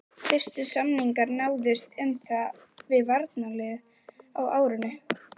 Fyrstu samningar náðust um það við varnarliðið á árinu